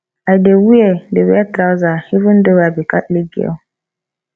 i dey wear dey wear trouser even though i be catholic girl